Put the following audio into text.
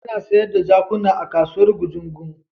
Ana sayar da jakuna a kasuwar Gujungu.